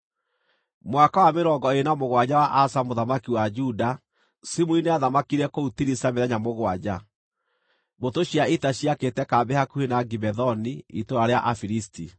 Mwaka wa mĩrongo ĩĩrĩ na mũgwanja wa Asa mũthamaki wa Juda, Zimuri nĩathamakire kũu Tiriza mĩthenya mũgwanja. Mbũtũ cia ita ciakĩte kambĩ hakuhĩ na Gibethoni, itũũra rĩa Afilisti.